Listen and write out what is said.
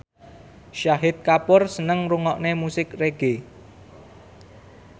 Shahid Kapoor seneng ngrungokne musik reggae